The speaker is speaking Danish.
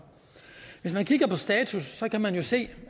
hvis man kigger på status kan man jo se